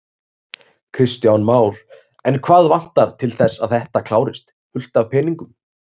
Kristján Már: En hvað vantar til þess að þetta klárist, fullt af peningum?